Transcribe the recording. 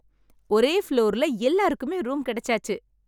ஒரே ஃப்ளோர்ல எல்லாருக்குமே ரூம் கிடைச்சாச்சு!